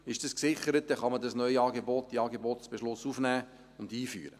Ist dies gesichert, dann kann man das Neuangebot in den Angebotsbeschluss aufnehmen und einführen.